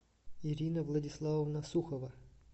ирина владиславовна сухова